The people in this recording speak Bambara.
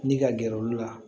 Ni ka gɛrɛ olu la